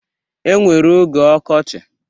E nwere oge ọkochị.